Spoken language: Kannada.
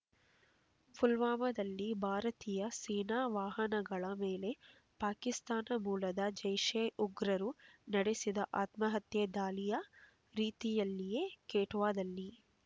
ಪುಲ್ವಾಮಾದಲ್ಲಿ ಭಾರತೀಯ ಸೇನಾ ವಾಹನಗಳ ಮೇಲೆ ಪಾಕಿಸ್ತಾನ ಮೂಲದ ಜೈಷೆ ಉಗ್ರರು ನಡೆಸಿದ ಆತ್ಮಹತ್ಯಾ ದಾಳಿಯ ರೀತಿಯಲ್ಲಿಯೇ ಕ್ವೆಟ್ಟಾದಲ್ಲಿ